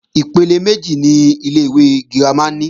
Ipele méjì ni ilé-ìwé girama ní.